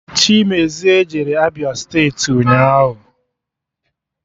Chimezie jere Abịa steeti ụnyaahụ